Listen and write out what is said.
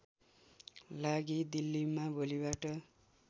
लागि दिल्लीमा भोलिबाट